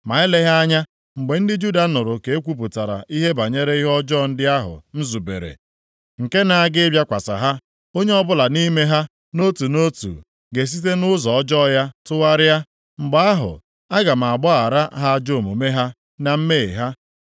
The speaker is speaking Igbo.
Ma eleghị anya mgbe ndị Juda nụrụ ka e kwupụtara ihe banyere ihe ọjọọ ndị ahụ m zubere, nke na-aga ịbịakwasị ha, onye ọbụla nʼime ha nʼotu nʼotu ga-esite nʼụzọ ọjọọ ya tụgharịa. Mgbe ahụ, aga m agbaghara ha ajọ omume ha na mmehie ha.”